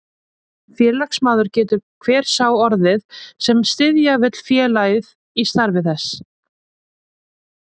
Félagsmaður getur hver sá orðið, sem styðja vill félagið í starfi þess.